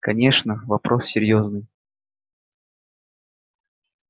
конечно вопрос серьёзный